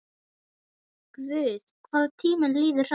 Guð, hvað tíminn líður hratt.